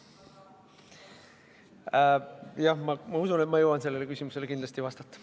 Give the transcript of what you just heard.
Jah, ma usun, et ma jõuan sellele küsimusele kindlasti vastata.